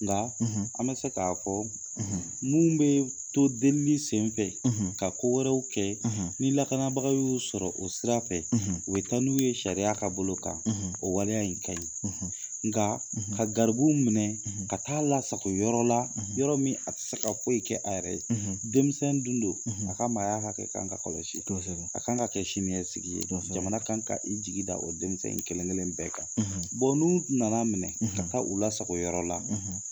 Nga an bɛ se k'a fɔ mun bɛ to delili sen fɛ ka ko wɛrɛw kɛ ni lakanabaga y'o sɔrɔ o sira fɛ u bɛ taa n'u ye sariya ka bolo kan o waleya in ka ɲi nga ka garibuw minɛ ka taa lasago yɔrɔ la yɔrɔ min a tɛ se ka foyi kɛ a yɛrɛ ye denmisɛn dun do a ka maaya hakɛ ka kan ka kɔlɔsi a ka kan ka kɛ siniɲɛsigi ye jamana kan ka i jigi da o denmisɛn in kelen kelen bɛɛ kan n'u na na minɛ ka taa u lasago yɔrɔ la